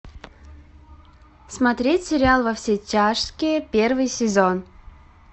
смотреть сериал во все тяжкие первый сезон